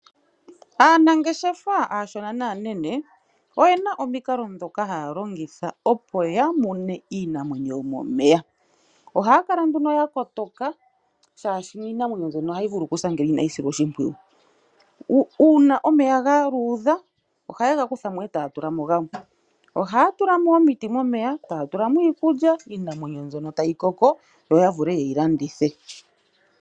Aanangeshefa aashona naanene oyena omikalo ndhoka haa longitha opo ya mune iinamwenyo yomomeya. Ohaa kala nduno ya kotoka shaashi iinamwenyo mbyono ohayi vulu okusa ngele inayi silwa oshimpwiyu. Uuna omeya ga luudha ohaye ga kutha mo etaa tula mo gamwe, ohaa tula mo omiti momeya ,taa tula mo iikulya iinamwenyo mbyono tayi koko yo ya vule ye yi landithe.